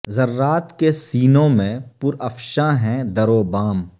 ذرات کے سینوں میں پر افشاں ہیں در و بام